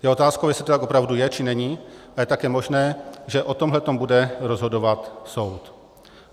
Je otázkou, jestli to tak opravdu je, či není, a je také možné, že o tomhle bude rozhodovat soud.